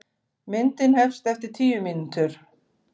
Myndin hefst eftir tíu mínútur.